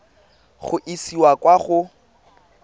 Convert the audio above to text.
go e isa kwa go